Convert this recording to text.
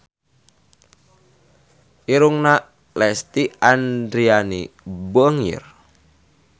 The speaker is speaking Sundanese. Irungna Lesti Andryani bangir